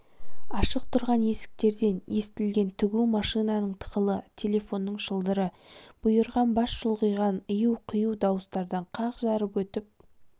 ашық тұрған есіктерден естілген тігу машинаның тықылы телефонның шылдыры бұйырған бас шұлғыған ию-қию дауыстарды қақ жарып өтіп